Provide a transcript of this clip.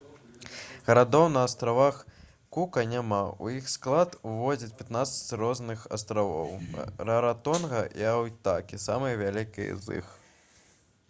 гарадоў на астравах кука няма у іх склад уваходзяць 15 розных астравоў раратонга і айтутакі самыя вялікія з іх